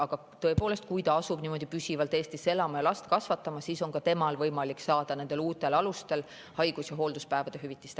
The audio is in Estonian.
Aga tõepoolest, kui ta asub püsivalt Eestisse elama ja hakkab siin last kasvatama, siis on ka temal võimalik saada uutel alustel haigus- ja hoolduspäevade hüvitist.